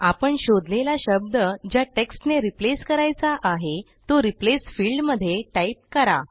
आपण शोधलेला शब्द ज्या टेक्स्टने रिप्लेस करायचा आहे तो रिप्लेस फिल्डमध्ये टाईप करा